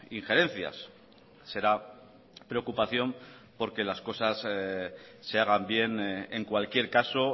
injerencias será preocupación porque las cosas se hagan bien en cualquier caso